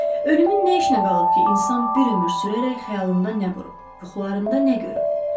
Ölümün nə işnə qalıb ki, insan bir ömür sürərək xəyalında nə qurub, yuxularında nə görüb?